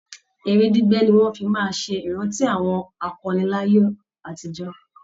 Eré gbígbẹ́ ni wọ́n fi máa ṣe ìrántí àwọn akọni láyé àtijọ́